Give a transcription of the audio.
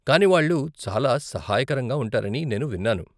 కానీ వాళ్ళు చాలా సహాయకరంగా ఉంటారని నేను విన్నాను.